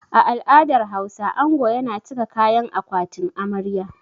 A al'adar Hausa, ango yana cika kayan akwatin amarya.